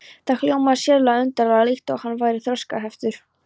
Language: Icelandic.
Það hljómaði sérlega undarlega, líkt og hann væri þroskaheftur.